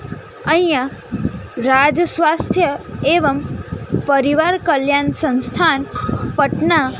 અહીંયા રાજ સ્વાસ્થ્ય એવમ પરિવાર કલ્યાણ સંસ્થાન પટના--